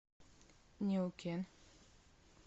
неукен